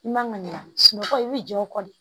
I man ŋaniya sunɔgɔ i bɛ jɔ o kɔ de